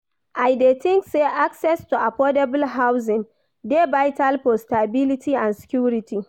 I dey think say access to affordable housing dey vital for stability and security.